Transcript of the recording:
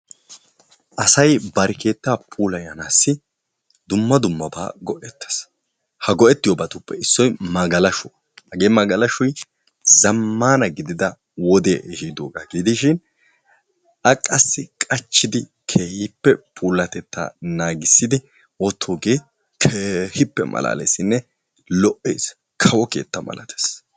Asayi bari keetta puulayanaassi dumma dummabaa go'ettes. Ha go'ettoyobatuppe issoy magalashuwa. Hagee magashoy zammaana gidida wodee ehiidoba gidishin a qassi qachchidi keehippe puulattettaa naagissidi wottoogee keehippe malaaleesinne lo'ees. Kawo keetta milatees.